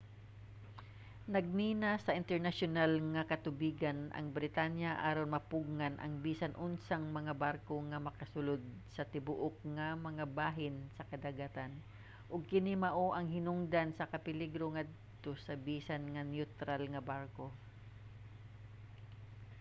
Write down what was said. nagmina sa internasyonal nga katubigan ang britanya aron mapugngan ang bisan unsang mga barko nga makasulud sa tibuok nga mga bahin sa kadagatan ug kini mao ang hinungdan sa kapeligro ngadto sa bisan mga neutral nga barko